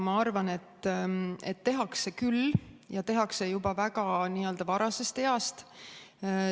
Ma arvan, et tehakse küll ja tehakse juba väga varasest east.